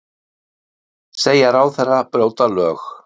Segja ráðherra brjóta lög